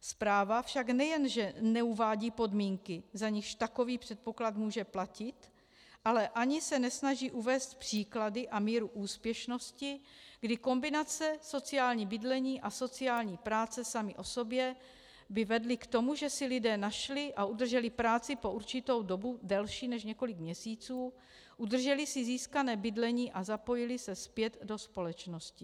Zpráva však nejen že neuvádí podmínky, za nichž takový předpoklad může platit, ale ani se nesnaží uvést příklady a míru úspěšnosti, kdy kombinace sociální bydlení a sociální práce samy o sobě by vedly k tomu, že si lidé našli a udrželi práci po určitou dobu delší než několik měsíců, udrželi si získané bydlení a zapojili se zpět do společnosti.